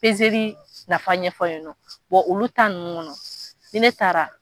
nafa ɲɛfɔ yen nɔ, olu nunnu kɔnɔ, ni ne taara.